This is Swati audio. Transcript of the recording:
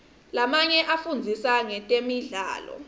lamanye afundzisa ngetemidlalo